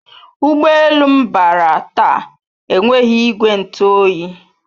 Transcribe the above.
Ụgbọ elu m bara taa enweghị ìgwè ntụ oyi